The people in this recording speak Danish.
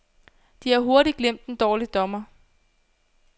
De har hurtigt glemt en dårlig dommer.